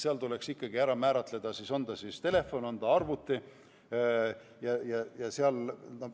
Seal tuleks siis ikkagi ära määratleda, on ta telefon või on ta arvuti jne.